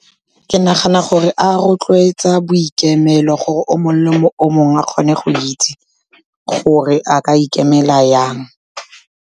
Ke nagana gore a rotloetsa boikemelo gore, o mongwe le o mongwe a kgone go itse gore a ka ikemela jang.